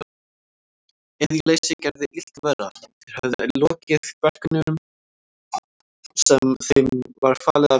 Iðjuleysið gerði illt verra, þeir höfðu lokið verkunum sem þeim var falið að vinna.